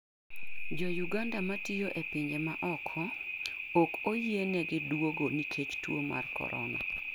Jo Uganda matiyo e pinje maoko ok oyienegi duogo nikech tuo mar corona.